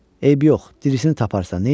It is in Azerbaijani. Eybi yox, dirisini taparsan, neynəyək?